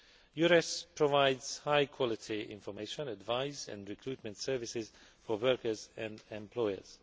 EURES provides high quality information, advice and recruitment services for workers and employers.